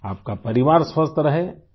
آپ کا کنبہ صحت مند رہے